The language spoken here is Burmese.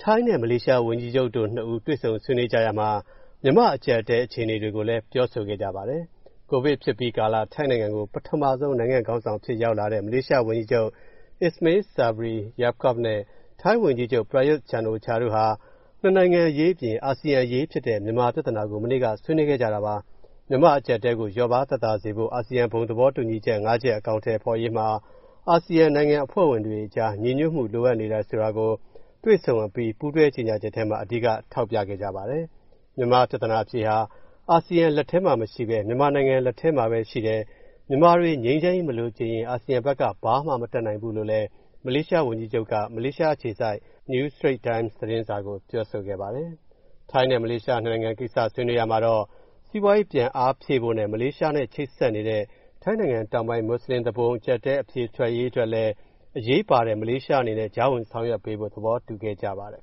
ိုင်းနဲ့ မလေးရှား ဝန်ကြီးချုပ်နှစ်ဦးတို့ တွေ့ဆုံဆွေးနွေးကြရာမှာ မြန်မာ့အကျပ်အတည်း အခြေအနေတွေကိုလည်း ပြောဆိုခဲ့ကြပါတယ်။ ကိုဗစ်ဖြစ်အပြီးကာလ ထိုင်းနိုင်ငံကို ပထမဆုံး နိုင်ငံ့ခေါင်းဆောင်အဖြစ် ရောက်လာတဲ့ မလေးရှားဝန်ကြီးချုပ် Ismail Sabri Yaakob နဲ့ ထိုင်းဝန်ကြီးချုပ် Prayuth Chan-ocha တို့ဟာ နှစ်နိုင်ငံအရေးအပြင် အာဆီယံအရေးဖြစ်တဲ့ မြန်မာပြဿနာကို မနေ့က ဆွေးနွေးခဲ့ကြတာပါ။ မြန်မာနိုင်ငံ အကျပ်အတည်းကို လျော့ပါးသက်သာစေဖို့ အာဆီယံ ဘုံသဘောတူချက် ၅ ရပ် အကောင်အထည်ဖော်ရေးမှာ အာဆီယံနိုင်ငံ အဖွဲ့ဝင်တွေအကြား ညီညွတ်မှု လိုအပ်နေတာကို တွေ့ဆုံပွဲအပြီး ပူးတွဲကြေညာချက်ထဲမှာ အဓိက ထောက်ပြခဲ့ကြပါတယ်။ မြန်မာပြဿနာအဖြေဟာ အာဆီယံလက်ထဲမှာ မရှိဘဲ မြန်မာနိုင်ငံ လက်ထဲမှာပဲ ရှိတယ်၊ မြန်မာတွေ ငြိမ်းချမ်းရေးမလိုချင်ရင် အာဆီယံဘက်က ဘာမှမတတ်နိုင်ဘူးလို့လည်း မလေးရှားဝန်ကြီးချုပ်က မလေးအခြေစိုက် New Straight Times သတင်းစာကို ပြောဆိုခဲ့ပါတယ်။ ထိုင်းနဲ့ မလေးရှား ၂ နိုင်ငံကိစ္စ ဆွေးနွေးရာမှာတော့ စီးပွားရေးပြန်အားဖြည့်ဖို့နဲ့ မလေးရှားနဲ့ ချိတ်ဆက်နေတဲ့ ထိုင်းနိုင်ငံတောင်ပိုင်း မွတ်စလင်သူပုန် အကျပ်အတည်း အဖြေအတွက်လည်း အရေးပါတဲ့ မလေးရှားအနေနဲ့ ကြားဝင်ဆောင်ရွက်ပေးဖို့ သဘောတူခဲ့ကြပါတယ်